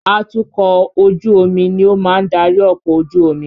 Atukọ̀ ojú omi ni ó máa ń darí ọkọ̀ ojú omi.